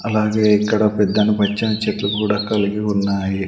అలాగే ఇక్కడ పెద్దను పచ్చని చెట్లు కూడా కలిగి ఉన్నాయి.